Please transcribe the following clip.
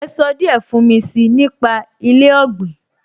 Ẹ sọ díẹ̀ fún mi si nípa ilé ọ̀gbìn?